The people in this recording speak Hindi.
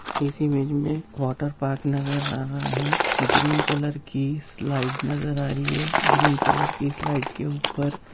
इस इमेज में वाटरपार्क नजर आ रहा है ग्रीन कलर की स्लाईड नजर आ रही है ग्रीन कलर की स्लाईड के ऊपर--